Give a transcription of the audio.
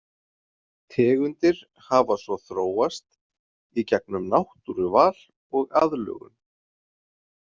Tegundir hafa svo þróast í gegnum náttúruval og aðlögun.